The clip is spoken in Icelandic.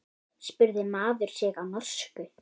spurði maður sig á norsku.